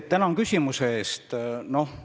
Tänan küsimuse eest!